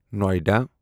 Noida